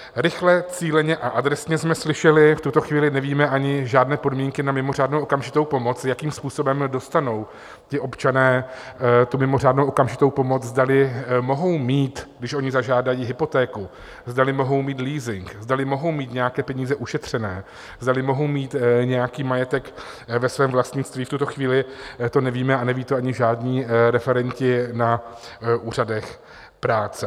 "Rychle, cíleně a adresně" jsme slyšeli - v tuto chvíli nevíme ani žádné podmínky na mimořádnou okamžitou pomoc, jakým způsobem dostanou ti občané tu mimořádnou okamžitou pomoc, zdali mohou mít, když oni zažádají, hypotéku, zdali mohou mít leasing, zdali mohou mít nějaké peníze ušetřené, zdali mohou mít nějaký majetek ve svém vlastnictví, v tuto chvíli to nevíme a neví to ani žádní referenti na úřadech práce.